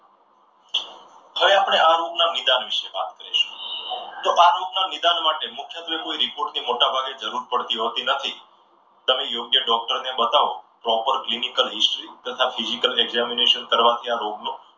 હવે આપણે આ રોગના નિદાન વિશે વાત કરીશું. તો આ રોગના નિદાન માટે મુખ્યત્વે કોઈ report ની કોઈ જરૂર પડતી નથી હોતી નથી. તમે યોગ્ય ડોક્ટરને બતાવો. proper clinical history તથા physical examination કરવાથી આ રોગનો